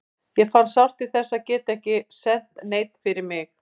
Ég fann sárt til þess að geta ekki sent neinn fyrir mig.